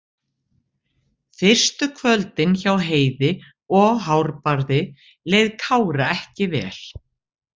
Fyrstu kvöldin hjá Heiði og Hárbarði leið Kára ekki vel.